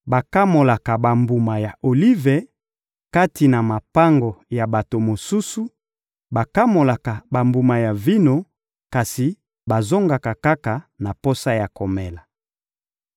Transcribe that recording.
Bakamolaka bambuma ya olive kati na mapango ya bato mosusu, bakamolaka bambuma ya vino, kasi bazongaka kaka na posa ya komela.